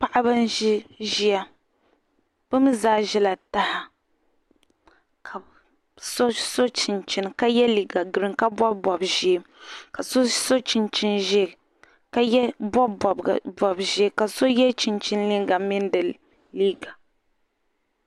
paɣiba n-ʒi ʒiya bɛ mi zaa ʒila taha ka so so chinchini ka ye liiga girin ka bɔbi bɔb' ʒee ka so so chinchini ʒee ka bɔbi bɔb' ʒee ka so ye chinchini liiga